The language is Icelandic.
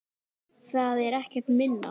Það er ekkert minna!